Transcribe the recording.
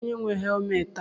Kedụ onye nwe helmetị a?